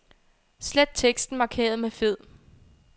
Slet teksten markeret med fed.